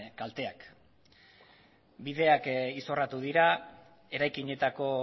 kalteak bideak izorratu dira eraikinetako